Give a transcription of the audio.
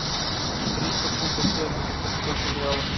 триста фунтов стерлингов это сколько в реалах